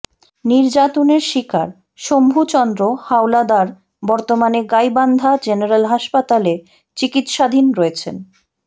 নির্যাতনের শিকার সম্ভু চন্দ্র হাওলাদার বর্তমানে গাইবান্ধা জেনারেল হাসপাতালে চিকিৎসাধীন রয়েছেন